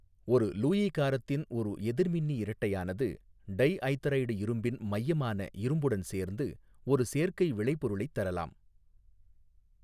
ஒரு லூயி காரத்தின் ஒரு எதிர்மின்னி இரட்டையானது டைஐதரைடு இரும்பின் மையமான இரும்புடன் சேர்ந்து ஒரு சேர்க்கை விளைபொருளைத் தரலாம்